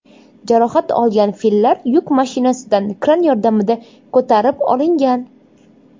Jarohat olgan fillar yuk mashinasidan kran yordamida ko‘tarib olingan.